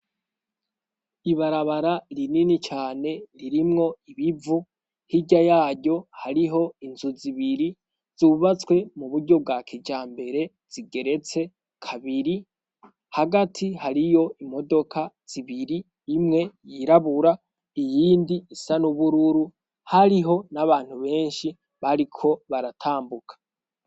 Ibarabara rinini cane ririmwo ibivu, hirya yaryo hariho inzu zibiri zubatswe mu buryo bwa kijambere zigeretse kabiri, hagati hariyo imodoka zibiri imwe yirabura iyindi isa n'ubururu hariho n'abantu benshi bariko baratambuka.